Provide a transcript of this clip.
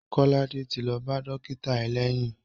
Korede ti lo ba dókítà eleyiin.